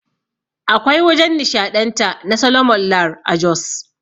Akwai wajan nishaɗanta na Soloman Lar a Jos